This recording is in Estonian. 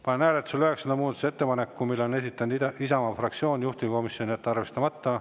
Panen hääletusele üheksanda muudatusettepaneku, mille on esitanud Isamaa fraktsioon, juhtivkomisjon: jätta arvestamata.